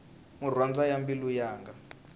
murhandzwa wa mbilu yanga